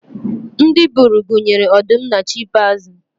ndị buru gunyere ọdụm na chimpaizi